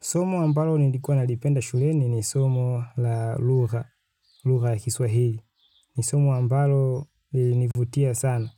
Somo ambalo nilikuwa nalipenda shuleni ni somo la lugha, lugha ya kiswahili. Ni somo ambalo lilinivutia sana